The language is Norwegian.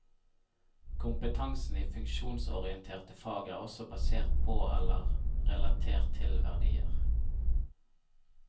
Kompetansen i funksjonsorienterte fag er også basert på eller relatert til verdier.